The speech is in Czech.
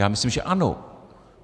Já myslím, že ano.